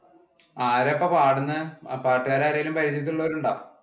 ആരാ അപ്പ പാടുന്നേ? പാട്ടുകാർ ആരെങ്കിലും പരിചയത്തിൽ ഉള്ളവർ ഉണ്ടോ?